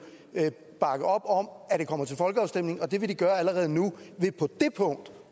bakke op om at det kommer til folkeafstemning og det vil de gøre allerede nu ved på det punkt